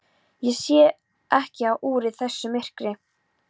Ég sé ekki á úrið í þessu myrkri.